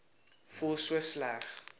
voel so sleg